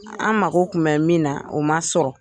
An mako kun bɛ min na o man sɔrɔ.